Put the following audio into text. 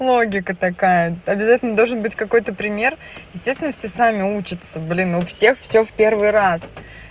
логика такая обязательно должен быть какой-то пример естественно все сами учатся блин у всех всё в первый раз